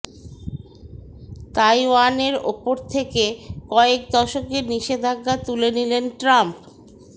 তাইওয়ানের ওপর থেকে কয়েক দশকের নিষেধাজ্ঞা তুলে নিলেন ট্রাম্প